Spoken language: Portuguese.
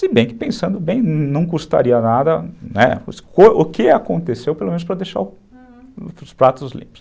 Se bem que pensando bem, não custaria nada, né, o que aconteceu, pelo menos para deixar, uhum, os pratos limpos.